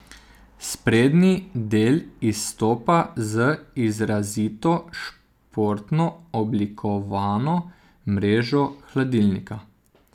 Sprednji del izstopa z izrazito športno oblikovano mrežo hladilnika.